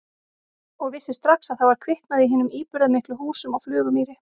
Og vissi strax að það var kviknað í hinum íburðarmiklu húsum á Flugumýri.